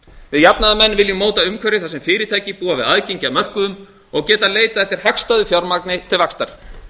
við jafnaðarmenn viljum móta umhverfi þar sem fyrirtæki búa við aðgengi að mörkuðum og geta leitað eftir hagstæðu fjármagni til vaxtar